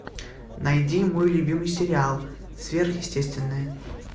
найди мой любимый сериал сверхъестественное